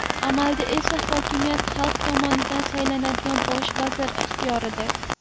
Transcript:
Amalda esa hokimiyat xalq tomonidan saylanadigan bosh vazir ixtiyorida.